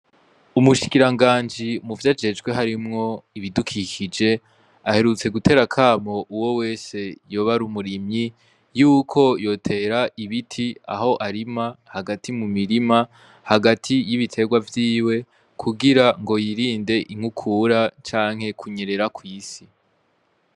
Umushikiranganji mu vyo ajejwe harimwo ibidukikije aherutse gutera kamo uwo wese yoba ari umurimyi yuko yotera ibiti aho arima hagati mu mirima hagati y'ibiterwa vyiwe kugira ngo yirinde inkukura canke kunyerera kw'isi.